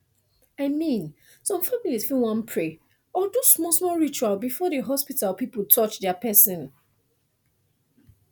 i mean some families fit wan pray or do small small ritual before the hospital people touch their person